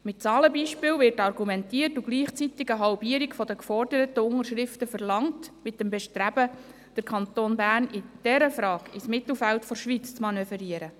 Mit Zahlenbeispielen wird argumentiert und gleichzeitig eine Halbierung der geforderten Unterschriften verlangt, mit dem Bestreben, den Kanton Bern in dieser Frage ins Mittelfeld der Schweiz zu manövrieren.